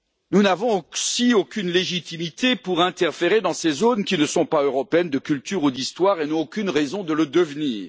Nous n'avons, en outre, aucune légitimité pour interférer dans ces zones qui ne sont pas européennes de culture ou d'histoire et n'ont aucune raison de le devenir.